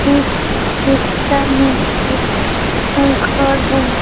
इस पिक्चर में एक घर है।